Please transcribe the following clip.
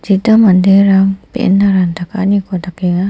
manderang be·enna ranta ka·aniko dakenga.